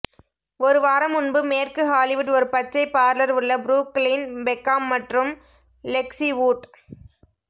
ஒரு வாரம் முன்பு மேற்கு ஹாலிவுட் ஒரு பச்சை பார்லர் உள்ள புரூக்ளின் பெக்காம் மற்றும் லெக்ஸி வூட்